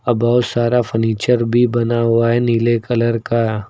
अब बहुत सारा फर्नीचर भी बना हुआ है नीले कलर का।